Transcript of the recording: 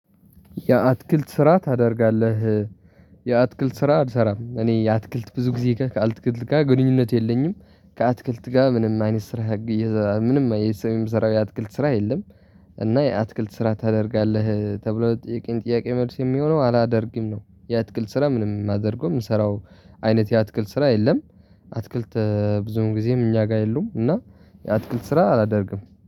የአትክልት ስራ ታደርጋለህ? የአትክልት ስራ አልሰራም እኔ የአትክልት ብዙ ጊዜ ጋር ካአትክልት ጋር ግንኙነት የለኝም። ከአትክልት ጋር ምንም አይነት ስራ። ምንም የሰው የምሰራው የአትክልት ስራ የለም። እና የአትክልት ስራ ታደርጋለህ ተብሎ ለተጥየቀኝ ጥያቄ መልስ የሚሆነው አላደርግም ነው። የአትክልት ስራ ምንም የማደርገው የምንሰራው አይነት የአትክልት ስራ የለም። አትክልት ብዙ ጊዜም እኛ ጋር የሉም እና የአትክልት ስራ አላደርግም